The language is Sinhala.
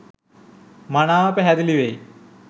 මනාව පැහැදිලි වෙයි